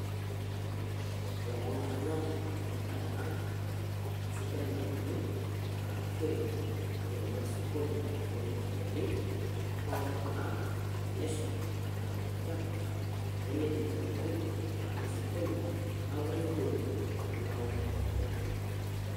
Ore ena naa kaanyorr amu endaa Ena sidai nauni naikarinkoshoreki neitobirr neitobirr osokoni netumieki ropiyiani. Hoo tenaa tenesha naa keinyial enchan nemeidim sii atobiko ataanyu osokoni amu keruoyo tenelau osokoni